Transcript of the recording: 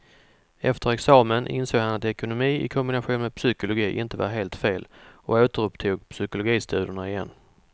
Efter examen insåg han att ekonomi i kombination med psykologi inte var helt fel och återupptog psykologistudierna igen.